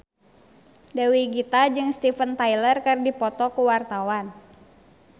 Dewi Gita jeung Steven Tyler keur dipoto ku wartawan